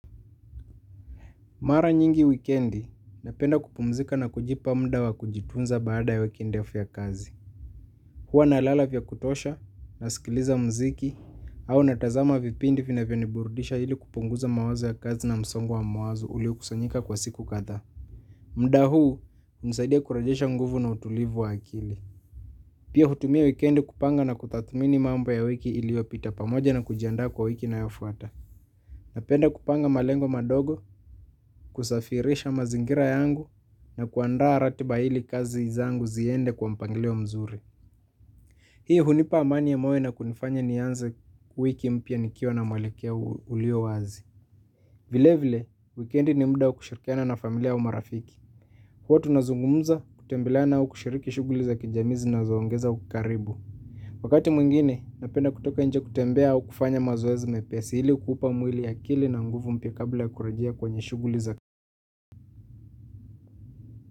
Mara nyingi wikendi, napenda kupumzika na kujipa muda wa kujitunza baada ya wiki ndefu ya kazi. Hua nalala vya kutosha, nasikiliza muziki, au natazama vipindi vinavyo niburudisha ili kupunguza mawazo ya kazi na msongo wa mawazo ulio kusanyika kwa siku kadhaa. Mda hunisaidia kurejesha nguvu na utulivu wa akili. Pia hutumia wikendi kupanga na kutathmini mambo ya wiki iliyopita pamoja na kujiandaa kwa wiki inayo fuata. Napenda kupanga malengo madogo, kusafisha mazingira yangu na kuandaa ratiba ili kazi izangu ziende kwa mpangilio mzuri. Hii hunipa amani ya moyo na kunifanya nianze wiki mpya nikiwa na mwelekeo ulio wazi. Vile vile, wikendi ni muda wa kushirikiana na familia au marafiki. Huwa tunazungumza kutembeleana au kushiriki shughuli za kijamii zinazoongeza ukaribu. Wakati mwingine napenda kutoka nje kutembea au kufanya mazoezi mepesi ili kuupa mwili akili na nguvu mpya kabla ya kurejea kwenye shuguli za.